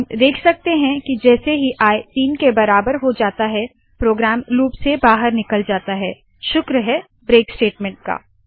हम देख सकते है के जैसे ही आई तीन के बराबर हो जाता है प्रोग्राम लूप से बाहर निकल जाता है शुक्र है ब्रेक स्टेटमेंट का